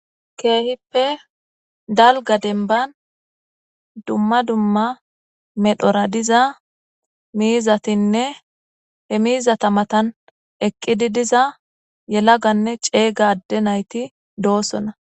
Keehippe dalgga dembban dumma dumma medhora diza miizatinne he miizata matan eqidi diza yellaganne ceegga adde naytti de'ossonna